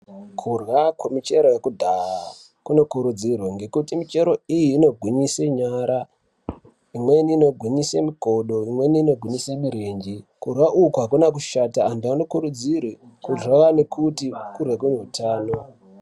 Kurya kwemichero yekudhaya kunokurudzirwa, ngekuti michero iyi inogwinyise nyara, imweni inogwinyise mikodo, imweni inogwinyise mirenje. Kurya uku hakuna kushata antu anokurudzirwe kurya ngekuti kurya kuneutano.